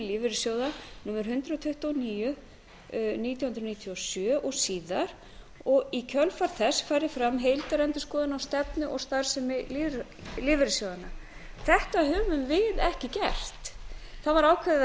lífeyrissjóða númer hundrað tuttugu og níu nítján hundruð níutíu og sjö og síðar og í kjölfar þess farið fram heildarendurskoðun á stefnu og starfsemi lífeyrissjóðanna þetta höfum við ekki gert það var ákveðið að